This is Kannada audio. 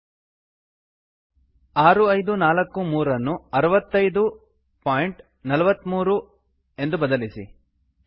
6543 ಆರು ಐದು ನಾಲ್ಕು ಮೂರನ್ನು 6543 ಅರವತ್ತೈದು ಬಿಂದು ನಾಲ್ಕು ಮೂರಕ್ಕೆ ಬದಲಿಸಿ